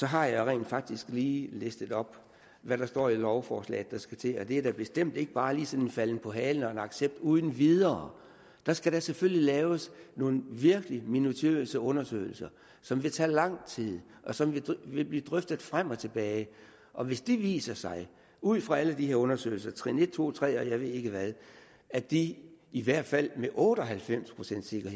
har jeg rent faktisk lige listet op hvad der står i lovforslaget at der skal til det er da bestemt ikke bare sådan falden på halen og accept uden videre der skal da selvfølgelig laves nogle virkelig minutiøse undersøgelser som vil tage lang tid og som vil blive drøftet frem og tilbage og hvis det viser sig ud fra alle de her undersøgelser trin en to tre og jeg ved ikke hvad at de i hvert fald med otte og halvfems pcts